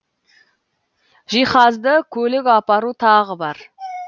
жиһазды көлік апару тағы бар